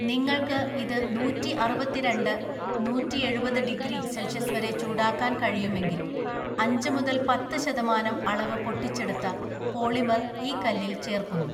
നിങ്ങൾക്ക് ഇത് നൂറ്റിഅറുപത്തിരണ്ട്, നൂറ്റിഎഴുപത് ഡിഗ്രി സെൽഷ്യസ് വരെ ചൂടാക്കാൻ കഴിയുമെങ്കിൽ അഞ്ച് മുതൽ പത്ത് ശതമാനം അളവ് പൊട്ടിച്ചെടുത്ത പോളിമർ ഈ കല്ലിൽ ചേർക്കുന്നു.